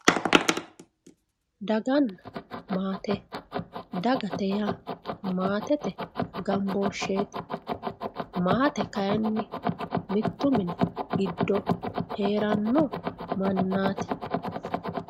Daganna maate, dagate yaa maatete gamboosheti, maate kayinni mitu mini giddo heerano mannati.